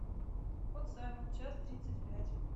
кот саймон час тридцать пять